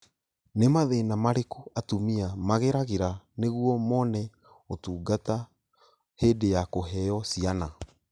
Nì mathĩna marĩkũ atumia mageragĩra nĩguo mone ũtungata hĩndĩ ya kũheo ciana?